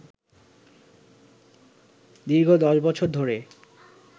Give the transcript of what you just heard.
দীর্ঘ ১০ বছর ধরে